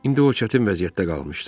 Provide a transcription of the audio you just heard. İndi o çətin vəziyyətdə qalmışdı.